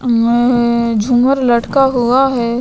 मैं झूमर लटका हुआ है.